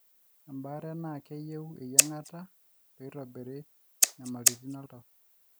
embaare naa keyieu eyiangata peitobiri nyamalitin oltau